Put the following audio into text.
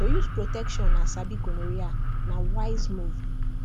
to use protection and sabi gonorrhea na wise move